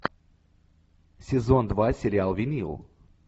сезон два сериал винил